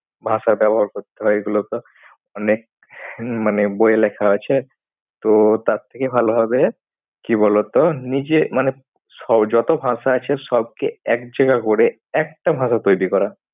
ভাষা ব্যবহার করতে হয়। এগুলো তো? অনেক মানে বইয়ে লেখা আছে। তো তার থেকে ভালো হবে কি বলতো নিজে মানে যত ভাষা আছে সবকে এক জায়গায় করে একটা ভাষা তৈরি করা।